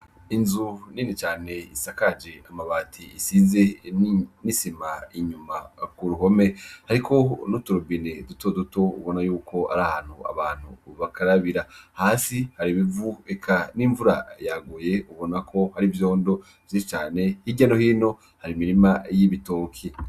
Inzu ninicane isakaje amabati isize nisima inyuma kuruhome, hariko n'uturubine duto duto ubona yuko ari hantu abantu bakarabira, hasi hari ibivu eka n'imvura yaguye ubonako hari vyondo vyi cane h'irya no hino hari imirima y'ibitoki.